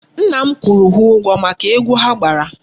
Nna m kwụrụ ha ụgwọ maka egwu ha gbara.